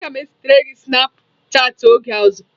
Aga m ezitere gị snapụ chatị oge ọzọ